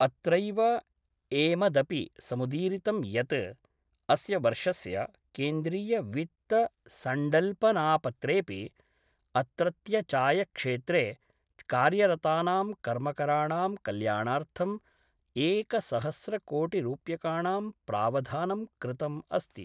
अत्रैव एमदपि समुदीरितं यत् अस्य वर्षस्य केन्द्रीयवित्तसंडल्पनापत्रेपि अत्रत्यचायक्षेत्रे कार्यरतानां कर्मकराणां कल्याणार्थंम् एकसहस्रकोटिरूप्यकाणां प्रावधानं कृतम् अस्ति।